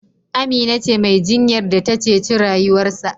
Amina ce Mai jinyar da ta ceci rayuwarsa